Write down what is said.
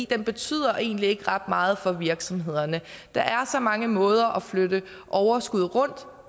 den betyder egentlig ikke ret meget for virksomhederne der er så mange måder at flytte overskud rundt